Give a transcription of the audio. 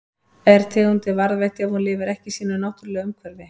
Er tegundin varðveitt ef hún lifir ekki í sínu náttúrulega umhverfi?